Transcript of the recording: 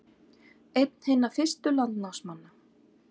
Einn hinna fyrstu landnámsmanna